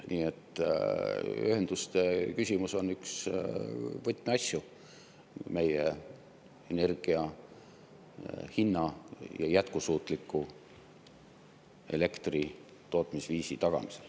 Nii et ühenduste küsimus on üks võtmeasju energia hinna ja jätkusuutliku elektritootmisviisi tagamisel.